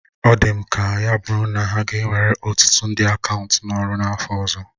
Ọ dị m ka ya bụrụ na ha ga ewere ọtụtụ ndị akaụntụ n'ọrụ n'afọ ọzọ